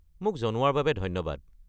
মোক জনোৱাৰ বাবে ধন্যবাদ।